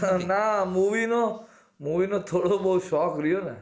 ના movie નો movie નો થોડો બોવ શોખ રયો ને